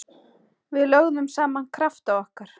Við lögðum saman krafta okkar.